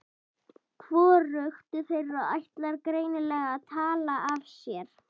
Hvorugt þeirra ætlar greinilega að tala af sér.